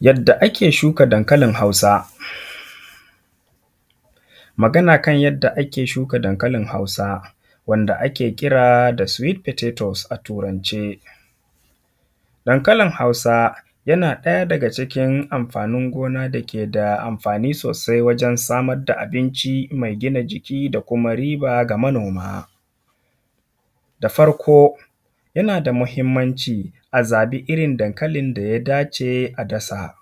Yadda ake shuka dankalin hausa. Magana kan yadda ake shuka dankalin hausa wanda ake kira da sweet patotoes a turance. Dankalin hausa yana ɗaya daga cikin amfanin gona da ke da amfani sosai wajan samar da abinci mai gina jiki, da kuma riba ga manoma. Da farko yana da muhimmanci a zaɓi irin dankalin da ya da ce a dasa.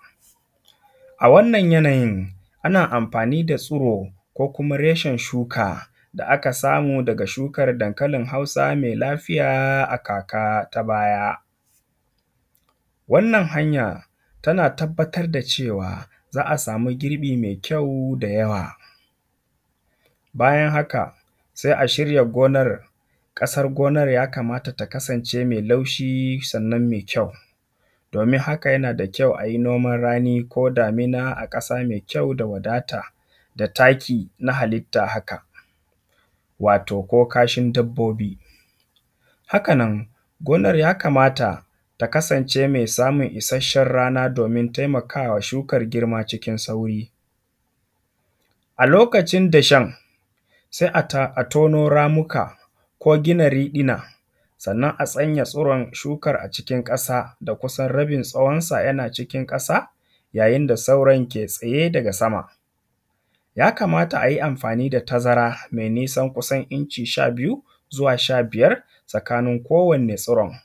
A wannan yanayin, ana amfani da tsiro, ko kuma reshen shuka da a kasamu daga shukan dankalin hausa mai lafiya a kaka ta baya. Wannan hanya tana tabbatar da cewa za a samu girbi mai kyau da yawa. Bayan haka sai a shirya gonan. ƙasar gonan ya kamata ta kasance mai laushi, sannan mai kyau, domin haka yana da kyau a yi noman rani, ko damina a ƙasa mai kyau, da wadata, da taki na halitta haka wato ko kashin dabbobi. Haka nan gonar ya kamata ta kasance mai samun ishashan rana domin taimakawa shukan girma cikin sauri. A lokacin dashen, sai a tono ramuka ko gina riɗina sannan a sanya tsiron shukan a cikin ƙasa da kusan rabin tsawon sa yana cikin ƙasa, yayin da sauran ke tsaye daga sama. Ya kamata a yi amfani da tazara mai nisan kusan inci sha biyu zuwa sha biyar tsakanin kowanne tsiron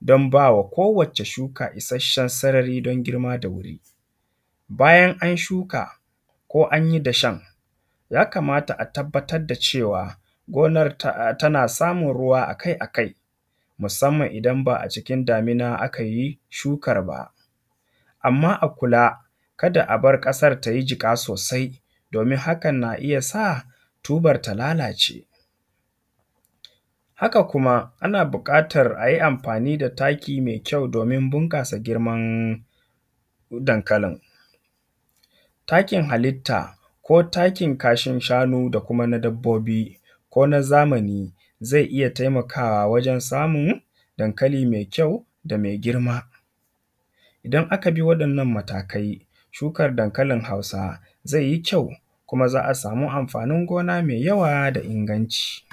don ba wa ko wacce shuka ishashen sarari don girma da wuri. Bayan an shuka ko an yid ashen ya kamata a tabbatar da cewa gonar tana samun ruwa akai akai, musamman idan ba a cikin damina aka yi shukar ba. amma a kula kada a bar ƙasar ta yi jiƙa sosai, domin hakan na iya sa tubar ta lalace. Haka kuma ana buƙatar a yi amfani da taki mai kyau domin bunƙasa girman dankalin. Takin halitta ko takin kashin shanu da kuma na dabbobi, ko na zamani, zai iya taimakawa wajen samun dankali mai kyau da mai girma. Idan aka bi waɗannan matakai shukar dankalin hausa, zai yi kyau kuma za a samu amfanin gona mai yawa da inganci.